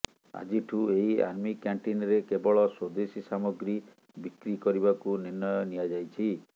ଆଜିଠୁ ଏହି ଆର୍ମି କ୍ୟାଣ୍ଟିନରେ କେବଳ ସ୍ବଦେଶୀ ସାମଗ୍ରୀ ବିକ୍ରି କରିବାକୁ ନିର୍ଣ୍ଣୟ ନିଆଯାଇଛି